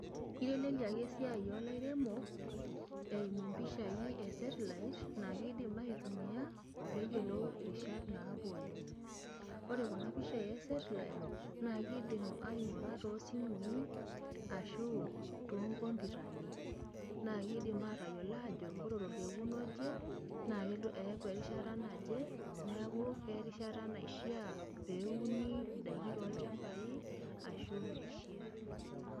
Eiteleliaki esiai olairemok eimu impishai esetlait naakeidim aitumia peeyiolou irishat naapuonu. Ore kuna pishai esetlait naakeidim aing'ora toosimui ashuu toonkomputani naakeidim aatayiolo aajo ore tolkoken oje naakelo eeku erishata naje neaku kerishata naishiaa peeuni indaiki toolchambai ashuu meishiaa.